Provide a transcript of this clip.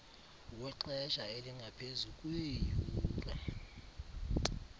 wexesha elingaphezu kweeyure